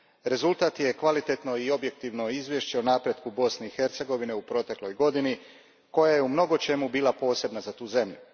Rezultat je kvalitetno i objektivno izvješće o napretku Bosne i Hercegovine u protekloj godini, koja je u mnogočemu bila posebna za tu zemlju.